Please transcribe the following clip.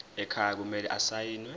ekhaya kumele asayiniwe